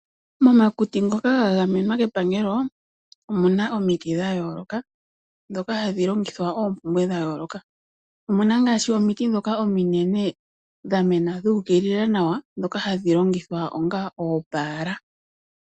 Momakuti ngoka ga gamenwa kepangelo omu na omiti dha yooloka ndhoka hadhi longithwa oompumbwe dha yooloka omu na ngaashi omiti ndhoka ominene dha mena dhuukilila nawa ndhoka hadhi longithwa onga oopala.